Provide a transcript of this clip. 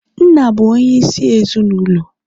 nna bụ onyeisi ezi n' ụlọ